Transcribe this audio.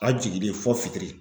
A jiginlen fɔ fitiri